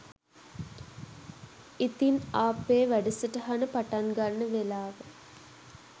ඉතින් ආපේ වැඩසටහන පටන් ගන්න වෙලාව